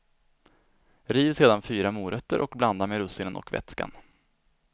Riv sedan fyra morötter och blanda med russinen och vätskan.